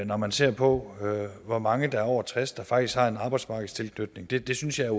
når man ser på hvor mange over tres år der faktisk har en arbejdsmarkedstilknytning det det synes jeg